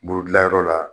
Bolodilanyɔrɔ la